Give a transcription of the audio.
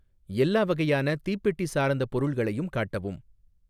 எல்லா வகையான தீப்பெட்டி சார்ந்த பொருள்களையும் காட்டவும்.